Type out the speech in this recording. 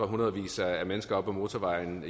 hundredvis af mennesker på motorvejen